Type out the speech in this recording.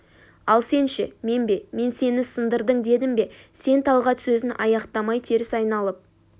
ал сен ше мен бе мен сен сындырдың дедім бе сен талғат сөзін аяқтамай теріс айналып